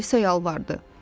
Alisa yalvardı.